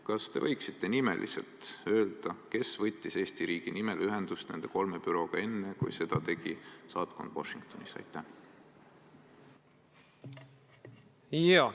Kas te võiksite nimeliselt öelda, kes võttis Eesti riigi nimel ühendust nende kolme bürooga enne, kui seda tegi Washingtonis asuv saatkond?